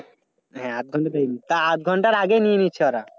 হ্যাঁ আধঘন্টা time তা আধ ঘন্টার আগেই নিয়ে নিচ্ছে ওরা।